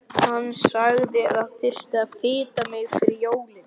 Hann sagði að það þyrfti að fita mig fyrir jólin.